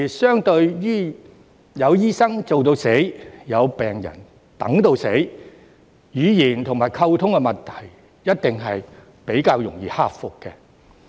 相對於有醫生做到死，有病人等到死，語言和溝通的問題一定較容易克服。